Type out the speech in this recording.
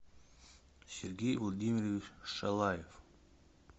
сергей владимирович шалаев